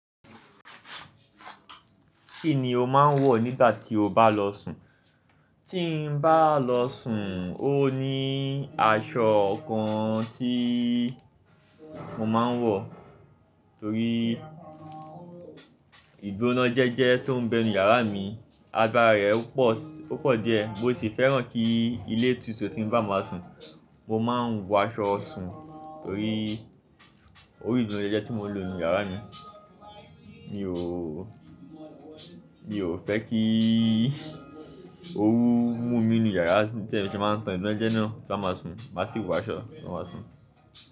Kí ni o máa ń wọ̀ nígbà tí o bá lọ sùn? Tí n bá lọ sùn ó ní aṣọ kan tí mo máa ń wọ̀, torí ìgbónájẹ́jẹ́ tó ń bẹ nú yàrá mi, agbára rẹ̀ ó pọ̀, ó pọ̀ díẹ̀. Mo sì fẹ́ràn kí ilé tutu tí n bá máa sùn, mo máa ń wọ aṣọ ọsùn torí ó rí ìgbónájẹ́jẹ́ tí mo ń lò nù yàrá mi. Mi ò, mi ò fẹ́ kí ó orú mú mi nù yàrá tí mo ti máa ń tàn ìgbónájẹ́jẹ́ náà kí a máa sùn. Má sì wọ aṣọ, ti n ba máa sùn.